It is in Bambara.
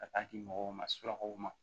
Ka taa di mɔgɔw ma surakaw ma